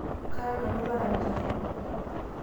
kara nanu olarani torrono